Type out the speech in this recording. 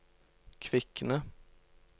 Kvikne